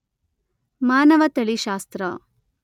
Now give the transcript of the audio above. ಮಾನವತಳಿಶಾಸ್ತ್ರ